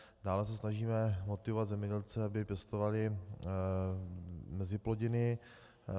Dále se snažíme motivovat zemědělce, aby pěstovali meziplodiny.